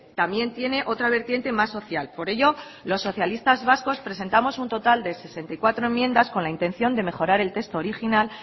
también tiene otra vertiente más social por ello los socialistas vascos presentamos un total de sesenta y cuatro enmiendas con la intención de mejorar el texto original